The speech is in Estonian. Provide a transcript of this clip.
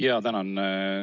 Jaa, tänan!